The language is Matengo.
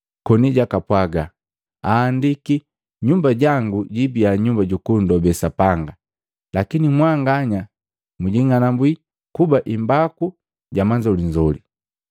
koni jakapwaaga, “Ahandiki, ‘Nyumba jangu jiibia nyumba jukundobe Sapanga,’ Lakini mwanganya mwijing'anabwi kuba imbaku ja manzolinzoli.”